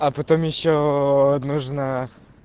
а потом ещё нужна